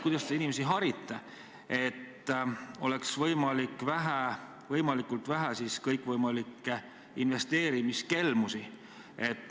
Kuidas te inimesi harite, et oleks võimalikult vähe investeerimiskelmusi?